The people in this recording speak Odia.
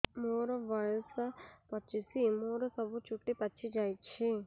ମୋର ବୟସ ପଚିଶି ମୋର ସବୁ ଚୁଟି ପାଚି ଯାଇଛି